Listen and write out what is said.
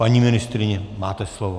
Paní ministryně, máte slovo.